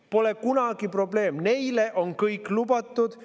Pole kunagi probleemi, neile on kõik lubatud.